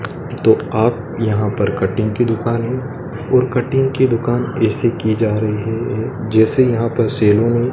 तो आप यहां पर कटिंग की दुकान है और कटिंग की दुकान ऐसे की जा रही है ये जैसे यहां पर सैलून है।